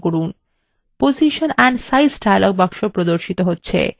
position and size dialog box এ প্রদর্শিত হচ্ছে